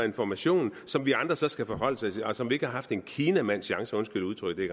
information som vi andre så skal forholde os til og som vi ikke har haft en kinamands chance undskyld udtrykket